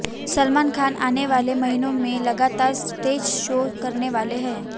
सलमान खान आने वाले महीनों में लगातार स्टेज शोज करने वाले हैं